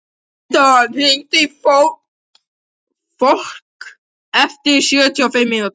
Eldon, hringdu í Fólka eftir sjötíu og fimm mínútur.